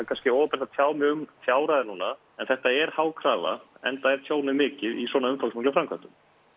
kannski óábyrgt að tjá mig um fjárhæðir núna en þetta er há krafa enda er tjónið mikið í svona umfangsmiklum framkvæmdum